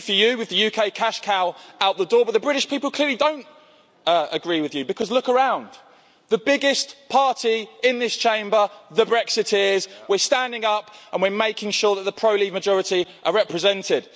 Well, maybe for you, with the UK cash cow out the door, but the British people clearly don't agree with you. Look around the biggest party in this Chamber, the Brexiteers, we're standing up and we're making sure that the pro-Leave majority are represented.